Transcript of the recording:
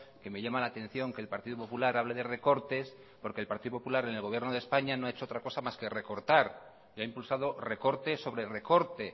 que me llama la atención que el partido popular hable de recortes porque el partido popular en el gobierno de españa no ha hecho otra cosa más que recortar y ha impulsado recorte sobre recorte